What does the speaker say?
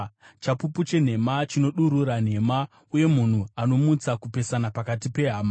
chapupu chenhema chinodurura nhema, uye munhu anomutsa kupesana pakati pehama.